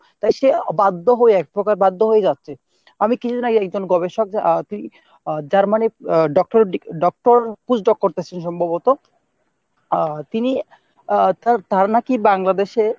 তাই সে বাধ্য হয়ে একপ্রকার বাধ্য হয়েই যাচ্ছে। আমি কিছুদিন আগে একজন গবেষক Germany ah doctorate degree ah doctor post doc করছেন সম্ভবত। আহ তিনি আহ তার ধারণা কী Bangladesh এ